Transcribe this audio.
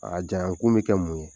A janya kun bɛ kɛ mun ye?